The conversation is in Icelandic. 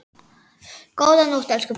Góða nótt, elsku pabbi.